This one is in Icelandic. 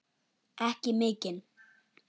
Ekki mikinn.